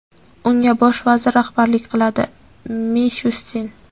unga bosh vazir rahbarlik qiladi – Mishustin.